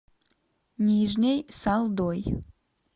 нижней салдой